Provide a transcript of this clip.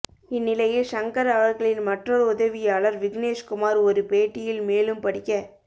இந்நிலையில் ஷங்கர் அவர்களின் மற்றொரு உதவியாளர் விக்னேஷ்குமார் ஒரு பேட்டியில் மேலும் படிக்க